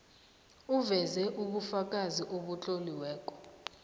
uveze ubufakazi obutloliweko